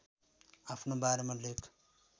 आफ्नो बारेमा लेख